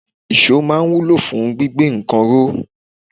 Iso máa ń wúlò fún gbígbé nǹkan ró.